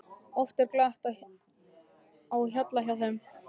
Oft er glatt á hjalla hjá þeim.